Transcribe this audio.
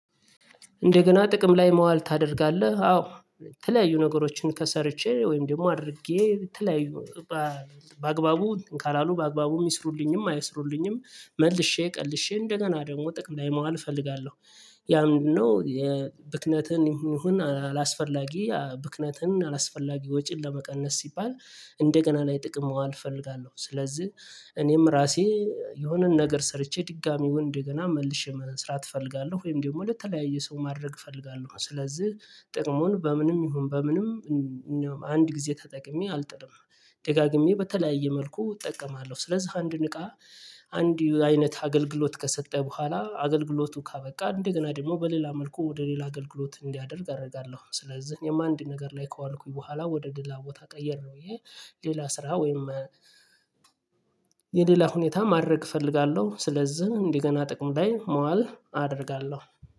እንደገና ጥቅም ላይ መዋል ታደርጋለህ አዎ የተለያዩ ነገሮችን ከሰርቼ ወይም ደግሞ አድርጌ የተለያዩ በአ በአግባቡ ካላሉ በአግባቡ ይስሩልኝም አይስሩልኝም መልሼ ቀልሼ እንደገና ደግሞ ጥቅም ላይ ማዋል እፈልጋለሁ። ያ ምንድን ነው የብክነትን ይሁን አላስፈላጊ ያ ብክነትን አላስፈላጊ ወጪን ለመቀነስ ሲባል። እንደገና ላይ ጥቅም መዋል እፈልጋለሁ ስለዚህ እኔም ራሴ የሆነን ነገር ሰርቼ ድጋሚወን ድ እንደገና መልሼ መስራት እፈልጋለሁ። ወይም ደግሞ ለተለያየ ሰው ማድረግ እፈልጋለሁ ስለዚህ ጥቅሙን በምንም ይሁን በምንም አንድ ጊዜ ተጠቅሜ አልጥልም። ደጋግሜ በተለያየ መልኩ እጠቀማለሁ ስለዚህ አንድን እቃ አንድ አይነት አገልግሎት ከሰጠ በኋላ አገልግሎቱ ካበቃ እንደገና ደግሞ በሌላ መልኩ ወደ ሌላ አገልግሎት እንዲያደርግ አደርጋለሁ። ስለዚህ እኔም አንድ ነገር ላይ ከዋልኩኝ በኋላ ወደ ሌላ ቦታ ቀየርኩኝ ይሄ ሌላ ስራ ወይም የሌላ ሁኔታ ማድረግ እፈልጋለሁ። ስለዚህ እንደገና ጥቅም ላይ ማዋል አደርጋለሁ